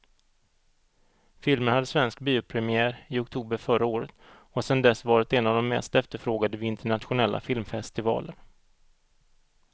Filmen hade svensk biopremiär i oktober förra året och har sedan dess varit en av de mest efterfrågade vid internationella filmfestivaler.